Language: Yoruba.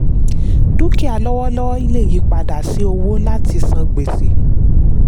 dúkìá lọ́wọ́lọ́wọ́ lè yí padà sí owó láti san gbèsè.